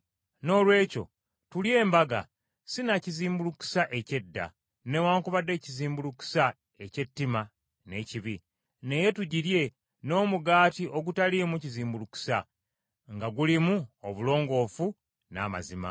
Noolwekyo tulye embaga si na kizimbulukusa eky’edda, newaakubadde ekizimbulukusa eky’ettima n’ekibi, naye tugirye n’omugaati ogutaliimu kizimbulukusa nga gulimu obulongoofu n’amazima.